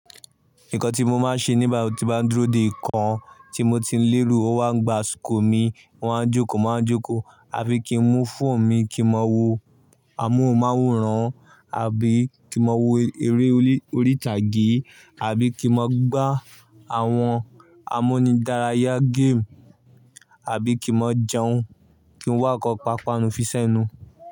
Nǹkan tí mo máa ń ṣe nígbà tí mo bá dúró dè nkan tí mo ti ń léro, ọ wá gbá àsikò mi, mo maá jókòó, mo maa jókòó, àbí kí n mu phone mi, kí mọ wo amóhùnmáwòrán, àbí kí mọ wo eré orí ìtàgé, àbí kí mọ gbá àwọn amunidáráyá game, àbí kí mọ jẹun, kí n wá nkan pa panu fisẹ̀ nu.